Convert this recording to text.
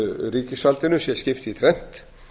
ríkisvaldinu sé skipt í þrennt